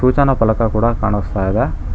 ಸೂಚನಾ ಫಲಕ ಕೂಡ ಕಾಣಿಸ್ತಾ ಇದೆ.